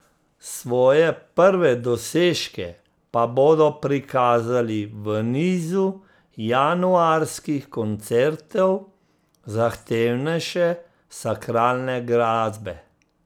Svoje prve dosežke pa bodo prikazali v nizu januarskih koncertov zahtevnejše sakralne glasbe.